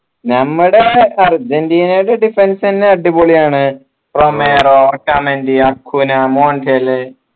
നമ്മുടെ അർജൻറീനയുടെ defence തന്നെ അടിപൊളിയാണ് റൊമേറോ ഓർക്കാൻണ്ടിയാ അക്കുനാ മൊണ്ടേൽ